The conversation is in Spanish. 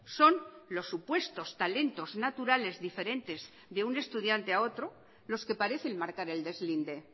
son los supuestos talentos naturales diferentes de un estudiante a otro los que parecen marcar el deslinde